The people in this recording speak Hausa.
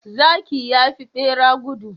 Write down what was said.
Zaki yafi bera gudu